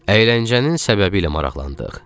Əyləncənin səbəbi ilə maraqlandıq.